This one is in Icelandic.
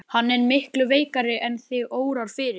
Hann er miklu veikari en þig órar fyrir.